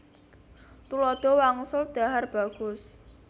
Tuladha wangsul dhahar bagus